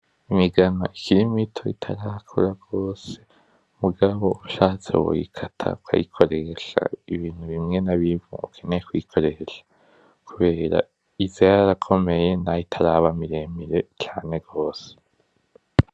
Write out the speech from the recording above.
Imigano ikiri mito itarakura gose, mugabo ushatse woyikata ukayikoresha Ibintu bimwe na bimwe uke eye kuyikoresha kubera iza yarakomeye naho itaraba biremire cane gose .